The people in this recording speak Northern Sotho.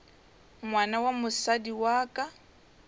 ngwana wa mosadi wa ka